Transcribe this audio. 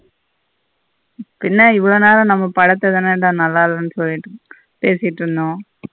பின்ன இவளோ நாள நம்ம படத்தனடா நல்ல இல்லன்னு சொல்லிட்டு பேசிட்டு இருந்தோம்.